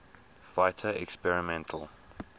fighter experimental